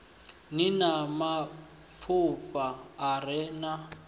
ni na mafhafhu a re